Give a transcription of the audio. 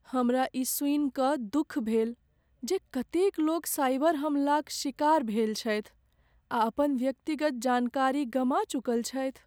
हमरा ई सुनि कऽ दुख भेल जे कतेक लोक साइबर हमलाक शिकार भेल छथि आ अपन व्यक्तिगत जानकारी गमा चुकल छथि।